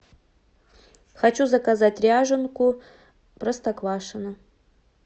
хочу заказать ряженку простоквашино